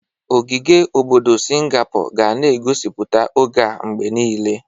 Ogige obodo Singapor ga na egosipụta oge a mgbe niile.